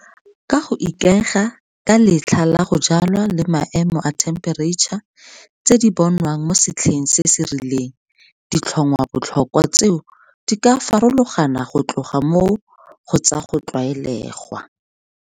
Ka go ikaega ka letlha la go jwalwa le maemo a thempereitšha tse di bonwang mo setlheng se se rileng ditlhongwabotlhokwa tseo di ka farologana go tloga mo go tsa go tlwaelegwa.